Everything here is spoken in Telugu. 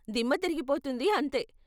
దిమ్మ తిరిగిపోతుంది అంతే.